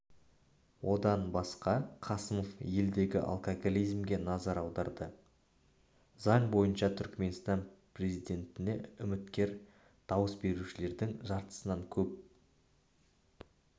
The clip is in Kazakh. одан басқа қасымов елдегі алкоголизмге назар аударды заң бойынша түрікменстан президенттіне үміткер дауыс берушілердің жартысынан көп